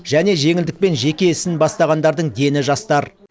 және жеңілдікпен жеке ісін бастағандардың дені жастар